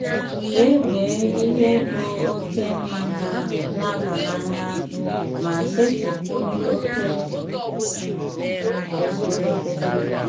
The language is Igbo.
Kpebie ihe bụ oke mmanya na-aba n'anya, ma setịpụ oke kwesịrị ekwesị.